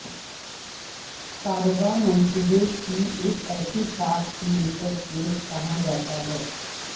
کاروبار منصوبے کی ایک ایسی ساخت میٹرکس کہا جاتا ہے